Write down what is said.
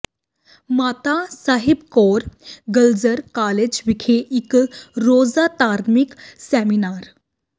ਮਾਤਾ Sahib Kaur girls college ਵਿਖੇ ਇਕ ਰੋਜ਼ਾ ਧਾਰਮਿਕ ਸੈਮੀਨਾਰ